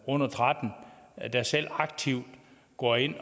under tretten år der selv aktivt går ind og